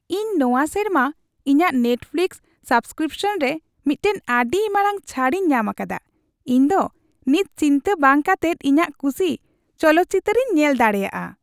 ᱤᱧ ᱱᱚᱶᱟ ᱥᱮᱨᱢᱟ ᱤᱧᱟᱹᱜ ᱱᱮᱴᱯᱷᱤᱞᱤᱠᱥ ᱥᱟᱵᱥᱠᱨᱤᱯᱥᱚᱱ ᱨᱮ ᱢᱤᱫᱴᱟᱝ ᱟᱹᱰᱤ ᱢᱟᱨᱟᱝ ᱪᱷᱟᱹᱲᱤᱧ ᱧᱟᱢ ᱟᱠᱟᱫᱟ ᱾ ᱤᱧ ᱫᱚ ᱱᱤᱛ ᱪᱤᱱᱛᱟᱹ ᱵᱟᱝ ᱠᱟᱛᱮᱫ ᱤᱧᱟᱜ ᱠᱷᱩᱥᱤ ᱪᱚᱞᱚᱛ ᱪᱤᱛᱟᱹᱨᱤᱧ ᱧᱮᱞ ᱫᱟᱲᱮᱭᱟᱜᱼᱟ ᱾